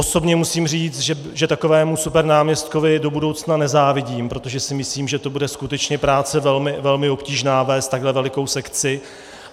Osobně musím říct, že takovému supernáměstkovi do budoucna nezávidím, protože si myslím, že to bude skutečně práce velmi obtížná vést takhle velikou sekci.